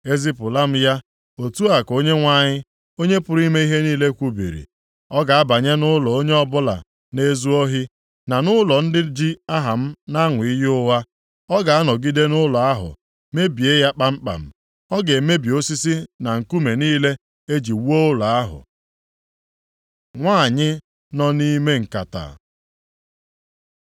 Ezipụla m ya, otu a ka Onyenwe anyị, Onye pụrụ ime ihe niile kwubiri, ‘Ọ ga-abanye nʼụlọ onye ọ bụla na-ezu ohi, na nʼụlọ ndị ji aha m na-aṅụ iyi ụgha. Ọ ga-anọgide nʼụlọ ahụ mebie ya kpamkpam. Ọ ga-emebi osisi na nkume niile e ji wuo ụlọ ahụ.’ ” Nwanyị nọ nʼime nkata